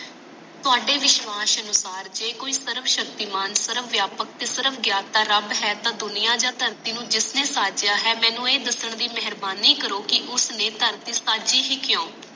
ਤੁਹਾਡੇ ਵਿਸ਼ਵਾਸ ਨੂੰ ਪਾਰ ਜੇ ਕੋਈ ਸਰਵਸ਼ਕਤੀਮਾਨ ਸ੍ਰਵਵਯਾਪਕ ਤੇ ਸਰਵਗਿਆਨਤਾ ਰੱਬ ਹੈ ਤਾਂ ਦੁਨੀਆਂ ਯਾ ਧਰਤੀ ਨੂੰ ਜਿਸਨੇ ਸਾਜਿਆ ਹੈ ਮੈਨੂੰ ਇਹ ਦਸਣ ਦੀ ਮੇਹਰਬਾਨੀ ਕਰੋ ਕਿ ਉਸਨੇ ਧਰਤੀ ਸਾਜੀ ਹੀ ਕਿਊ